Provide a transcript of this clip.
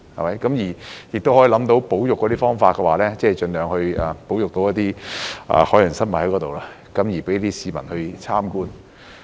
可以想象到當中的保育方式，即盡量在那裏保育一些海洋生物，供市民參觀。